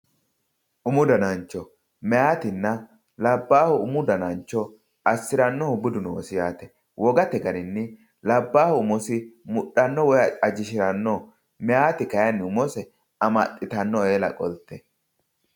Umu danancho, mayatinna labbahu umu danancho assiranohu budu noosi yaate, wogate garinni labbalu mudhano woyi ajishirano, mayiti kayinni umose amaxittano eella qolte.